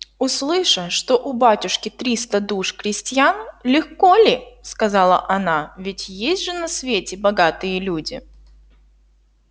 услыша что у батюшки триста душ крестьян легко ли сказала она ведь есть же на свете богатые люди